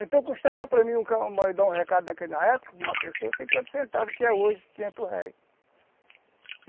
Então custava para mim dar um recado naquela época, para uma pessoa, cinquenta centavos, o que é hoje, quinhentos réis.